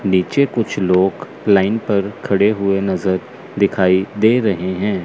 नीचे कुछ लोग लाइन पर खड़े हुए नजर दिखाई दे रहे हैं।